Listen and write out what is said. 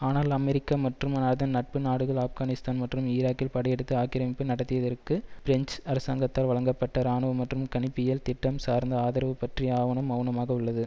ஆனால் அமெரிக்கா மற்றும் அதன் நட்பு நாடுகள் ஆப்கானிஸ்தான் மற்றும் ஈராக்கில் படையெடுத்து ஆக்கிரமிப்பு நடத்தியதற்கு பிரெஞ்சு அரசாங்கத்தால் வழங்கப்பட்ட இராணுவ மற்றும் கணிப்பியல் திட்டம் சார்ந்த ஆதரவு பற்றி ஆவணம் மெளனமாக உள்ளது